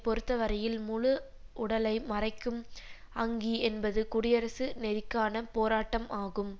பொறுத்தவரையில் முழு உடலை மறைக்கும் அங்கி என்பது குடியரசு நெறிக்கான போராட்டம் ஆகும்